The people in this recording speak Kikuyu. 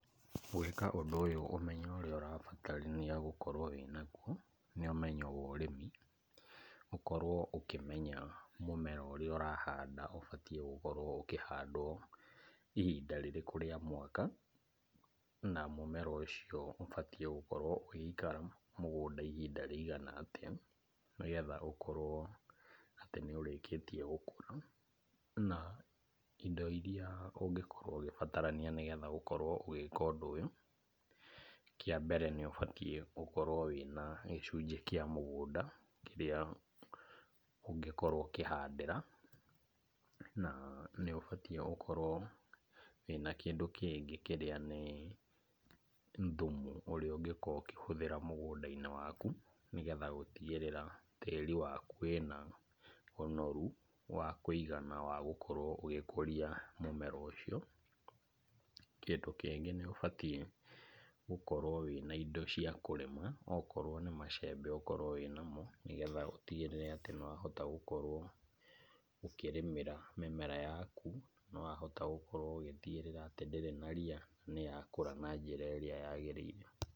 Gwĩka ũndũ ũyũ ũmenyo ũrĩa ũrabatarania gũkorwo wĩnagwo nĩ ũmenyo wa ũrĩmi , gũkorwo ũkĩmenya mũmera ũrĩa ũrahanda, ũbatiĩ gũkorwo ũkĩhandwo ihinda rĩrĩkũ rĩa mwaka, na mũmera ũcio ũbatiĩ gũkorwo ũgĩikara mũgũnda ihinda rĩigana atĩa , nĩgetha ũkorwo atĩ nĩ ũrĩkĩtie gũkũra, na indo iria ũngĩkorwo ũgĩbatarania ũkorwo ũgĩka ũndũ ũyũ, kĩa mbere nĩgũkorwo wĩna gĩcunjĩ kĩa mũgũnda kĩrĩa ũngĩkorwo ũkĩhandĩra, nĩ ũbatiĩ gũkorwo wĩna kĩndũ kĩngĩ kĩrĩa nĩ thumu ũrĩa ũngĩkorwo ũkĩhũthĩra mũgũnda-inĩ waku , nĩgetha gũtigĩrĩra tĩri waku wĩna ũnoru wa kũigana wa gũkorwo ũgĩkũria mũmera ũcio, kĩndũ kĩngĩ nĩ ũbatiĩ gũkorwo wĩna indo cia kũrĩma , okorwo nĩ macembe ũkorwo wĩna mo , nĩgetha ũtigĩrĩrie atĩ nĩwahota gũkorwo ũkĩrĩmĩra mĩmera yaku, nĩwahota gũkorwo ũgĩtigĩrĩra atĩ ndĩrĩ na ria, nĩyakũra na njĩra ĩrĩa yagĩrĩire.